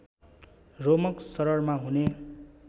रोमक शररमा हुने